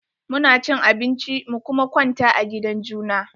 Mu na cin abinci mu kuma kwanta a gidan juna.